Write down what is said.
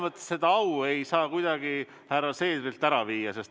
Ma seda au ei saa kuidagi härra Seederilt ära võtta.